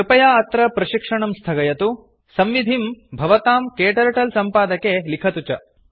कृपया अत्र प्रशिक्षणं स्थगयतु संविधिं भवतां क्टर्टल सम्पादके लिखतु च